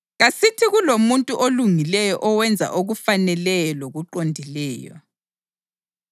Kasithi kulomuntu olungileyo owenza okufaneleyo lokuqondileyo.